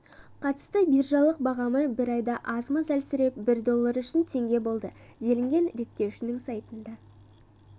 қатысты биржалық бағамы бір айда аз-маз әлсіреп бір доллары үшін теңге болды делінген реттеушінің сайтында